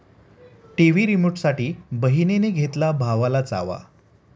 TV रिमोटसाठी बहिणीने घेतला भावाला चावा